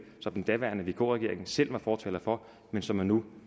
som den daværende vk regering selv var fortaler for men som man nu